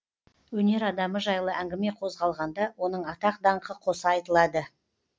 өнер адамы жайлы әңгіме қозғалғанда оның атақ даңқы қоса айтылады